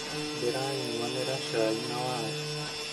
Ndĩra nyuanĩra cai na waru